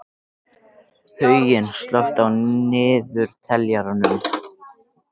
Huginn, slökktu á niðurteljaranum.